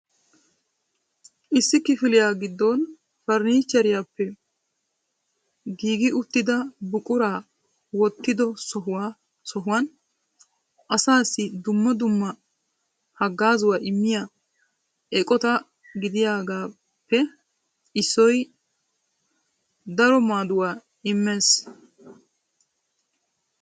Issi kifiliya giddon farannicheriyappe giigi uttida buquraa wottido sohuwan asaassi dumma dumma haggaazuwa immiya eqota gidiyagaappe issoy daro maaduwa immees.